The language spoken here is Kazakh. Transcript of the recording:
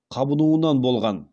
қабынуынан болған